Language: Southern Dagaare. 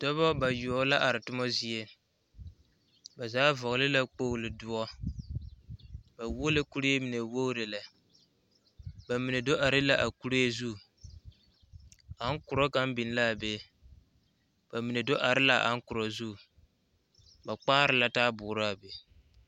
Dɔba bayoɔbo la are toma zie ba zaa vɔgeli la kpolo doɔre ba wuo la kuree mine wogire lɛ ba mine do are la a kuree zu ankorɔ kaŋa biŋ la be ba mine do are a ankorɔ zu ba kpaare la taboɔre a be